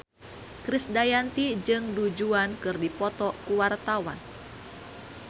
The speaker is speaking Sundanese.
Krisdayanti jeung Du Juan keur dipoto ku wartawan